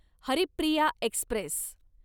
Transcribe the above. Haripriya Express